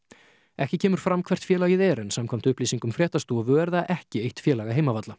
ekki kemur fram hvert félagið er en samkvæmt upplýsingum fréttastofu er það ekki eitt félaga